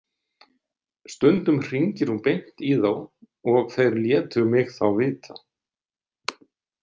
Stundum hringir hún beint í þá og þeir létu mig þá vita.